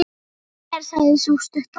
Sama er mér, sagði sú stutta.